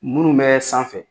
Minnu bɛ sanfɛ.